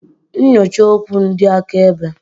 Nyochaa okwu ndị akaebe.